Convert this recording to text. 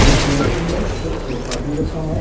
कुर्सियां रखी हैं एक सोफा भी रखा है।